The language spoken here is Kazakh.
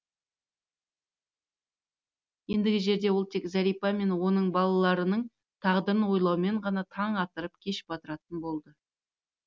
ендігі жерде ол тек зәрипа мен оның балаларының тағдырын ойлаумен ғана таң атырып кеш батыратын болды